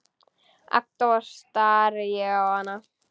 Agndofa stari ég á hana.